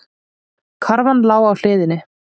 Karfan lá á hliðinni.